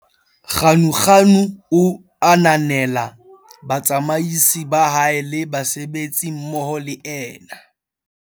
Ganuganu o ananela batsamaisi ba hae le basebetsi mmoho le ena.